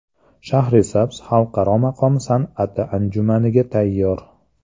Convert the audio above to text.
Shahrisabz Xalqaro maqom san’ati anjumaniga tayyor.